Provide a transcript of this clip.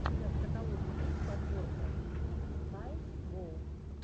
у тебя в каталоге есть подборка твик каэс гоу